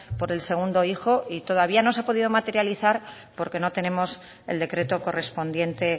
por el segundo hijo y todavía no se ha podido materializar porque no tenemos el decreto correspondiente